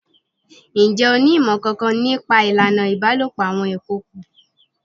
Ǹjẹ́ o ní ìmọ̀ kankan ní pa ìlànà ìbálòpọ̀ àwọn ìkookò?